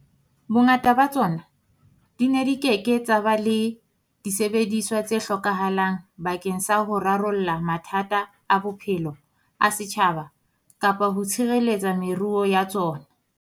Bongata ba tsona di ne di ke ke tsa ba le disebediswa tse hlokahalang bakeng sa ho rarolla mathata a bophelo a setjhaba kapa ho tshireletsa meruo ya tsona.